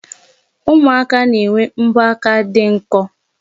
Ụmụaka na-enwe mbọaka dị nkọ.